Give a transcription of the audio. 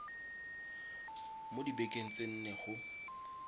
mo dibekeng tse nne go